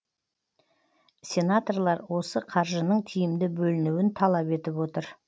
сенаторлар осы қаржының тиімді бөлінуін талап етіп отыр